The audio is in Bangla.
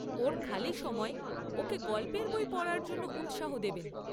ওর খালি সময়ে ওকে গল্পের বই পড়ার জন্য উৎসাহ দেবেন।